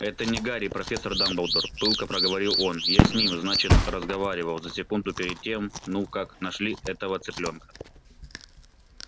это не гарри профессор дамблдор пылко проговорил он я с ним значит разговаривал за секунду перед тем ну как нашли этого цыплёнка